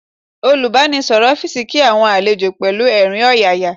Olùbánisọ̀rọ̀ ọ́fíìsì kí àwọn àlejò pẹ̀lú ẹ̀rín ọ̀yàyà